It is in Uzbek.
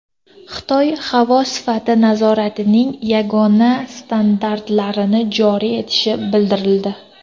Xitoy havo sifati nazoratining yagona standartlarini joriy etishi bildirildi.